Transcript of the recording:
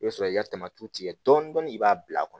I bɛ sɔrɔ k'i ka tamati tigɛ dɔɔnin dɔɔnin i b'a bila a kɔnɔ